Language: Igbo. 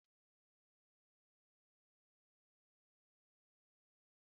John hụrụ ofe ose eji azụ síé n'anya